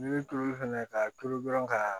N'i bɛ tulu fɛnɛ ka tulu dɔrɔn ka